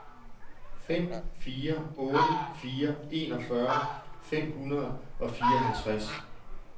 fem fire otte fire enogfyrre fem hundrede og fireoghalvtreds